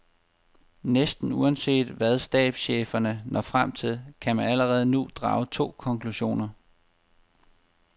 Næsten uanset hvad stabscheferne når frem til, kan man allerede nu drage to konklusioner.